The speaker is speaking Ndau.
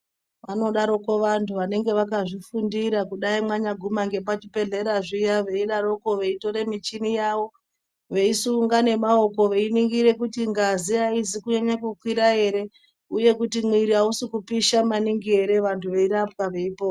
Vanodaroko vantu vanenge vakazvifundira kudai manyaguma ngepachibhedhleya zviya veidaroko veitore michini yavo veisunga nemaoko veiningire kuti ngazi aina kukwira ere uye kuti mwiri ausi kupisha maningi ere vantu veirapwa veipona.